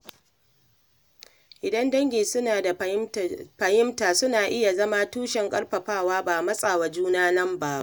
Idan dangi suna da fahimta, suna iya zama tushen ƙarfafawa ba matsa wa juna lamba ba.